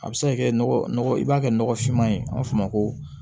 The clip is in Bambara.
A bɛ se ka kɛ nɔgɔ i b'a kɛ nɔgɔfinma ye an b'a fɔ o ma ko